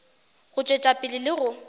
go tšwetša pele le go